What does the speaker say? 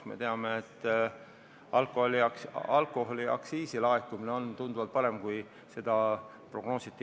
Me teame, et näiteks alkoholiaktsiisi laekumine on tunduvalt parem, kui seda kevadel prognoositi.